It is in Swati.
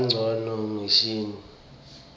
bongcondvo mshini